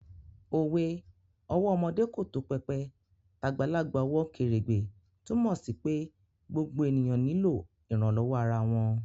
Òwe 'ọwọ́ ọmọdé kò tó pẹpẹ, tàgbàlagbà ò wọ kèrèǹgbè' túnmọ̀ sí pé gbogbo ènìyàn nílò ìrànlọ́wọ́ ara wọn